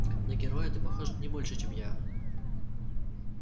на героя ты похож не больше чем я